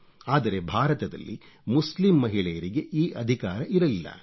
ಆದರೆ ಭಾರತದಲ್ಲಿ ಮುಸ್ಲಿಂ ಮಹಿಳೆಯರಿಗೆ ಈ ಅಧಿಕಾರ ಇರಲಿಲ್ಲ